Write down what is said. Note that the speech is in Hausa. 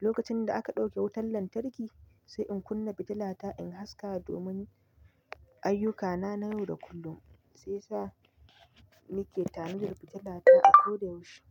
lokacin da aka ɗauke wutar lantarki, sai in kunna fitilata in haska domin ayyukana na yau da kullum. Sai sa nake tanadi fitilata a ko da yaushe.